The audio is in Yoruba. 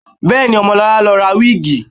Bẹ́ẹ̀ni, Ọmọlọlá lọ ra wíìgì